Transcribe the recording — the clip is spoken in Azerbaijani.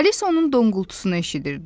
Alisa onun donqultusunu eşidirdi.